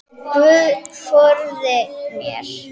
Guð forði mér.